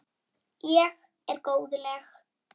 Ég er góðleg.